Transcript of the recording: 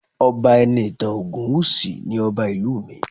Ọba Enitan Ogunwusi ni Ọba ìlú mi